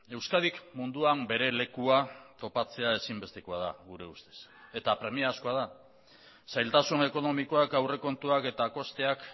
euskadik munduan bere lekua topatzea ezinbestekoa da gure ustez eta premiazkoa da zailtasun ekonomikoak aurrekontuak eta kosteak